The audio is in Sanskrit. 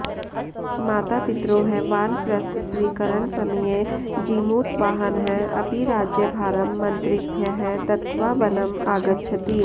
मातापित्रोः वानप्रस्थस्वीकरणसमये जीमूतवाहनः अपि राज्यभारं मन्त्रिभ्यः दत्त्वा वनम् आगच्छति